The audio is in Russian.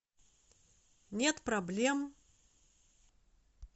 нет проблем